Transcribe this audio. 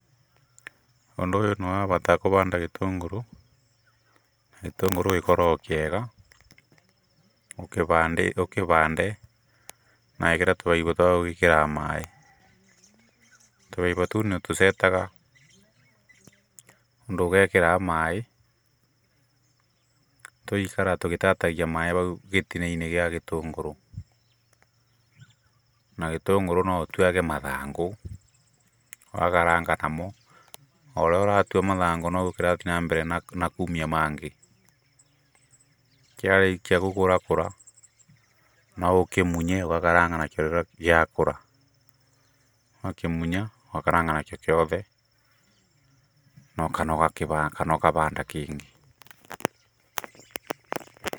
Ũndũ ũyũ nĩ wabata kũbanda gĩtũngũrũ, gĩtũngũrũ gĩkoragwo kĩega, ũkĩbande na wĩkĩre tũbaibu twa gwĩkĩraga maaĩ. Tũbaibu tũu nĩ ũtũcetaga ũndũ ũgekĩraga maaĩ tũgaikara tũgĩtatagia maaĩ bau gĩtina-inĩ gĩa gĩtũngũrũ. Na gĩtũngũrũ no ũtuage mathangũ ũgakaranga namo, o ũrĩa ũratua mathangũ noguo kĩrathiĩ na mbere kumia mangĩ. Kĩarĩkia gũkũrakũra, no ũkĩmunye ũgakaranga nakĩo rĩrĩa gĩakũra. Wakĩmunya ũgakaranga nakĩo gĩothe kana ũgabanda na kana ũgabanda kĩngĩ.